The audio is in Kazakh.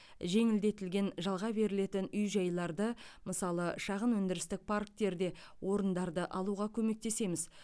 жеңілдетілген жалға берілетін үй жайларды мысалы шағын өндірістік парктерде орындарды алуға көмектесеміз